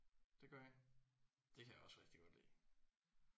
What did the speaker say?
Det gør I. Det kan jeg også rigtig godt lide